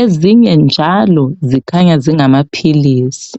ezinye njalo zikhanya zingamaphili.